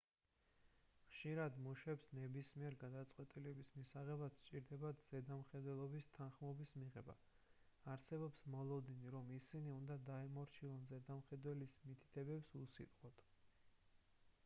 ხშირად მუშებს ნებისმიერი გადაწყვეტილების მისაღებად სჭირდებათ ზედამხედველების თანხმობის მიღება არსებობს მოლოდინი რომ ისინი უნდა დაემორჩილონ ზედამხედველის მითითებებს უსიტყვოდ